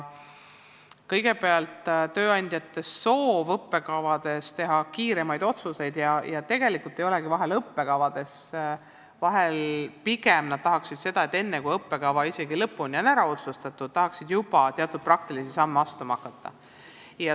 Kõigepealt, tööandjatel on soov, et õppekavade kohta tehtaks kiiremaid otsuseid, ja tegelikult ei olegi asi vahel õppekavades, vahel pigem nad tahaksid seda, et isegi enne, kui õppekava on lõpuni ära otsustatud, saaks juba teatud praktilisi samme astuma hakata.